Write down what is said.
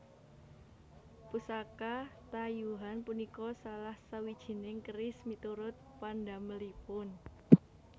Pusaka tayuhan punika salah sawijining keris miturut pandamelipun